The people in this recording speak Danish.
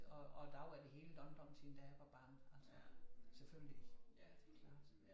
Og og der var det helt andre tider da jeg var barn altså selvfølgelig det klart